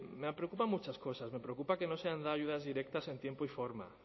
me preocupan muchas cosas me preocupa que no se hayan dado ayudas directas en tiempo y forma